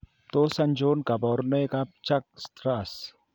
Tos achon kabarunaik ab Churg Strauss